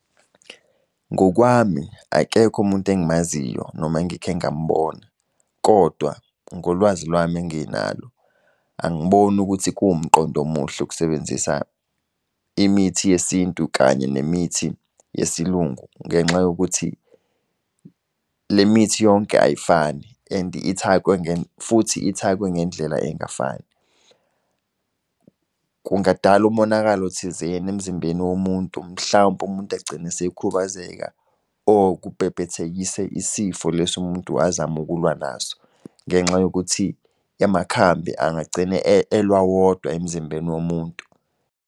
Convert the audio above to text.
Ngokwami, akekho umuntu engimaziyo noma engikhe ngamubona, kodwa ngolwazi lwami enginalo, angiboni ukuthi kuwumqondo omuhle ukusebenzisa imithi yeSintu kanye nemithi yesiLungu, ngenxa yokuthi le mithi yonke ayifani, and ithakwe , futhi ithakwe ngendlela engafani. Kungadala umonakalo thizeni emzimbeni womuntu mhlawumpe umuntu agcine esekhubazeka or kubhebhethekise isifo lesi umuntu azama ukulwa naso. Ngenxa yokuthi amakhambi angagcina elwa wodwa emzimbeni womuntu.